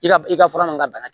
I ka i ka fura min ka bana